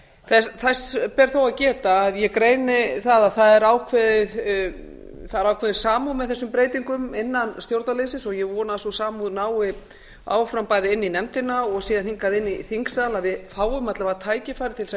þess ber þó að geta að ég greini það að það er ákveðin samúð með þessum breytingum innan stjórnarliðsins og ég vona að sú samúð nái áfram bæði inn í nefndina og síðan hingað inn í þingsal að við fáum alla vega tækifæri til þess að